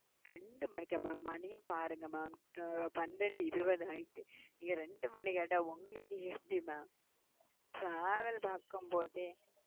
ரெண்டு மணிக்கா mam மணிய பாருங்க mam பன்னெண்டு இருபது ஆயிட்டு ரெண்டு மணி கேட்ட உங்களுக்கு எப்படி mamtravel பாக்கும்போதே,